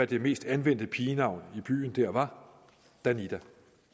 det mest anvendte pigenavn i den by var danida